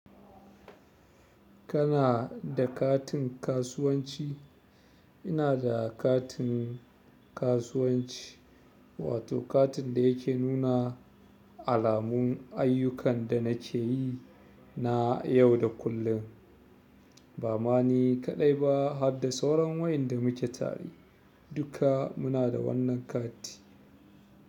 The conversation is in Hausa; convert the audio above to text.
Kana da katin kasuwanci? Ina da katin kasuwanci, wato katin da yake nuna alamun ayyukan da nake yi na yau da kullum. Ba ma ni kaɗai ba har da sauran wainda mu ke tare, duka muna da wannan kati.